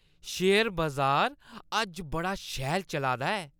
Share बजार अज्ज बड़ा शैल चला दा ऐ।